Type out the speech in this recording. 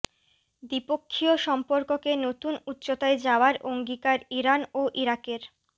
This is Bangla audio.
দ্বিপক্ষীয় সম্পর্ককে নতুন উচ্চতায় যাওয়ার অঙ্গীকার ইরান ও ইরাকের